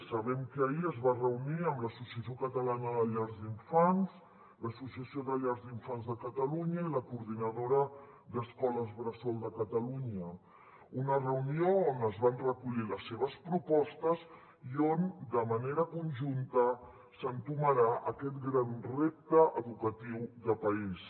sabem que ahir es va reunir amb l’associació catalana de llars d’infants l’associació de llars d’infants de catalunya i la coordinadora d’escoles bressol de catalunya una reunió on es van recollir les seves propostes i de manera conjunta s’entomarà aquest gran repte educatiu de país